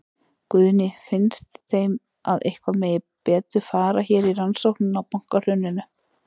Guðný: Finnst þeim að eitthvað megi betur fara hér í rannsóknina á bankahruninu?